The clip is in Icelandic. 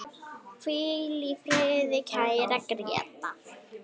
Hvíl í friði, kæri Grétar.